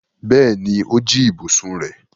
Bẹ́ẹ̀ni, ó jí ibùsùn rẹ̀.